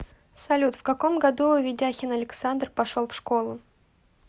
салют в каком году ведяхин александр пошел в школу